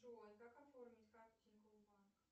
джой как оформить карту тинькофф банк